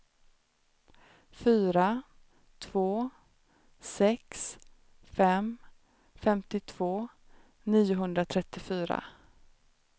fyra två sex fem femtiotvå niohundratrettiofyra